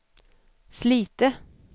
Slite